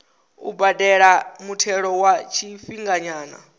u badela muthelo wa tshifhinganyana